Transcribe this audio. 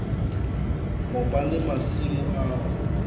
ho ba le masimo ao